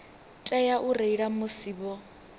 tea u reila musi vho